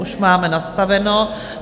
Už máme nastaveno.